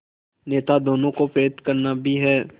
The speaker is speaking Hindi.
नेता दोनों को प्रेरित करना भी है